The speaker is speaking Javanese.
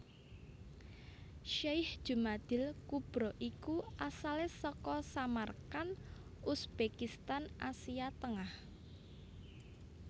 Syekh Jumadil kubro iku asalé saka Samarkand Uzbekistan Asia Tengah